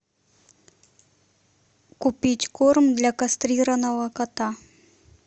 купить корм для кастрированного кота